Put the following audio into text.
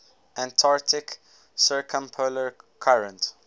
antarctic circumpolar current